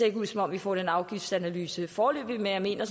ikke ud som om vi får den afgiftsanalyse foreløbig men jeg mener